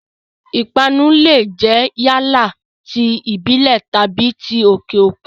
Ìpanu lè jẹ́ yálà ti ìbílẹ̀ tàbí ti òkè òkun.